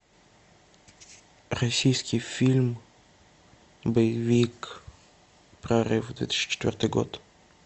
российский фильм боевик прорыв две тысячи четвертый год